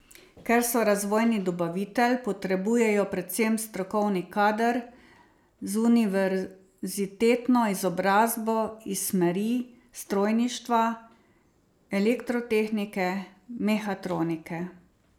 Ker so razvojni dobavitelj, potrebujejo predvsem strokovni kader z univerzitetno izobrazbo iz smeri strojništva, elektrotehnike, mehatronike...